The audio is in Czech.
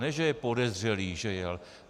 Ne že je podezřelý, že jel.